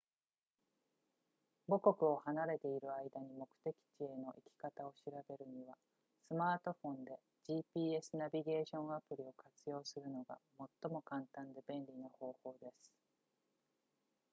母国を離れている間に目的地への行き方を調べるにはスマートフォンで gps ナビゲーションアプリを活用するのが最も簡単で便利な方法です